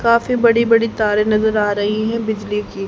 काफी बड़ी बड़ी तारे नजर आ रही हैं बिजली की--